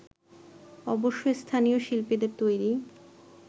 অবশ্যই স্থানীয় শিল্পীদের তৈরি